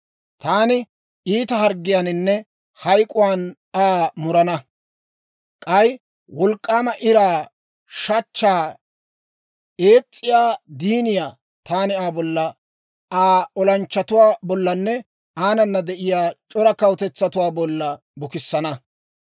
Taani iita harggiyaaninne hayk'k'uwaan Aa murana; k'ay wolk'k'aama iraa, shachchaa, ees's'iyaa diiniyaa taani Aa bolla, Aa olanchchatuwaa bollanne aanana de'iyaa c'ora kawutetsatuwaa bolla bukissana.